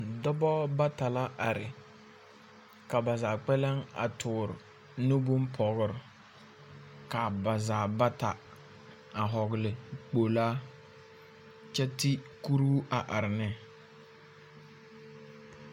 Dɔbɔ bata la are. Ka ba zaa kpɛlɛŋ a toor nu bompɔgr. Kaa ba zaa bata a hɔɔle kpolaa kyɛ ti kuruu a are ne.